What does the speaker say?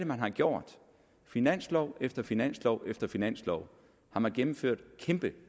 man har gjort finanslov efter finanslov efter finanslov har man gennemført kæmpe